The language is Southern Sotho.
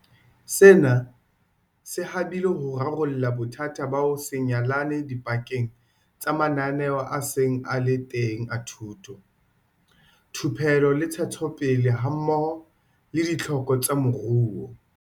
Sena se habile ho rarolla bothata ba ho se nyalane dipakeng tsa mananeo a seng a le teng a thuto, thupelo le ntshetsopele hammoho le ditlhoko tsa moruo.